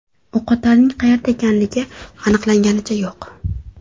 O‘qotarning qayerda ekanligi aniqlanganicha yo‘q.